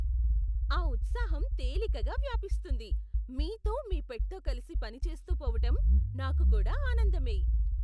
ఆ ఉత్సాహం తేలికగా వ్యాపిస్తుంది! మీతో, మీ పెట్తో కలిసి పనిచేస్తూ పోవటం నాకు కూడా ఆనందమే.